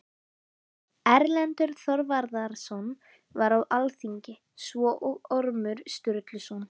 Erlendur Þorvarðarson var á alþingi, svo og Ormur Sturluson.